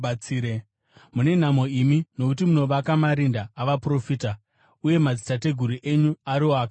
“Mune nhamo imi, nokuti munovaka marinda avaprofita, uye madzitateguru enyu ariwo akavauraya.